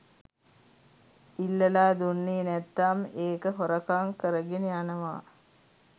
ඉල්ලලා දුන්නේ නැත්නම් ඒක හොරකං කරගෙන යනවා